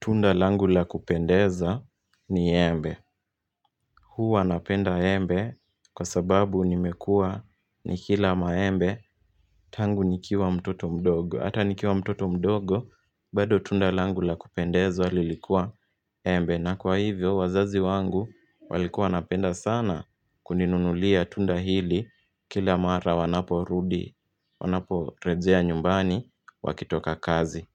Tunda langu la kupendeza ni embe. Huwa napenda embe kwa sababu nimekuwa ni kila maembe tangu nikiwa mtoto mdogo. Hata nikiwa mtoto mdogo bado tunda langu la kupendeza lilikuwa embe. Na kwa hivyo wazazi wangu walikuwa wanapenda sana, kuninunulia tunda hili kila mara wanaporudi wanaporejea nyumbani wakitoka kazi.